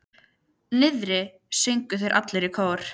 Niðri, sögðu þeir allir í kór.